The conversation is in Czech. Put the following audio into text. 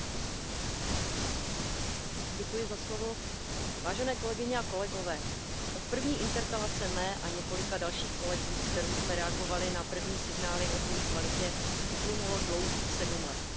Pane předsedající, vážené kolegyně a kolegové, od první interpelace mé a několika dalších kolegů, kterou jsme reagovali na první signály o dvojí kvalitě, uplynulo dlouhých sedm let.